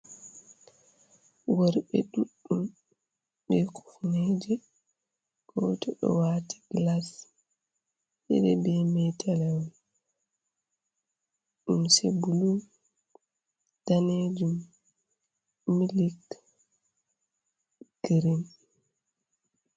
Worɓe ɗuɗɗum be kufneje. Go to ɗo wati glas, ɗiɗi be metalawol. Limse bulu, danejum, milik, girin kare man.